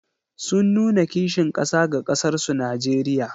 Sun nuna kishin ƙasa ga ƙasarsu Najeriya.